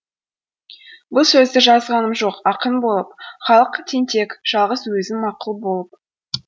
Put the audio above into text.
бұл сөзді жазғаным жоқ ақын болып халық тентек жалғыз өзім мақұл болып